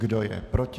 Kdo je proti?